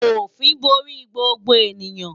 Òfin borí gbogbo ènìyàn